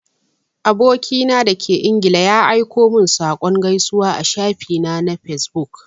Aboki na da ke ingila ya aiko min da saƙon gaisuwa a shafi na na fesbuk.